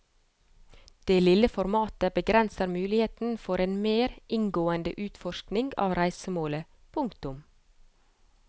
Det lille formatet begrenser muligheten for en mer inngående utforskning av reisemålet. punktum